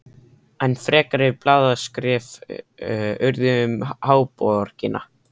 Enn frekari blaðaskrif urðu um háborgina.